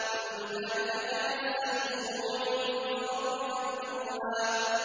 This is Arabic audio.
كُلُّ ذَٰلِكَ كَانَ سَيِّئُهُ عِندَ رَبِّكَ مَكْرُوهًا